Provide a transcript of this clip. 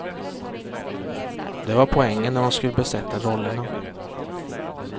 Det var poängen när de skulle besätta rollerna.